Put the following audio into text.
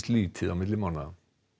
lítið á milli mánaða